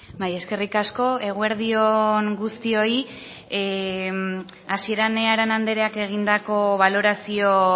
bai eskerrik asko eguerdi on guztioi hasieran arana andreak egindako balorazio